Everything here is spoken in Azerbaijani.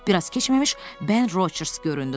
Bir az keçməmiş Ben Rocers göründü.